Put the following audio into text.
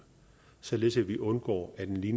rimelig